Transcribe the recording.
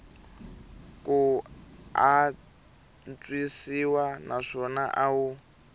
ku antswisiwa naswona a wu